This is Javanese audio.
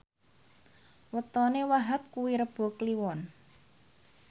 wetone Wahhab kuwi Rebo Kliwon